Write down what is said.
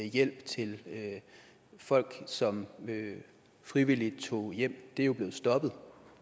hjælp til folk som frivilligt tog hjem og det er jo blevet stoppet